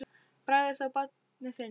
Bragð er að þá barnið finnur!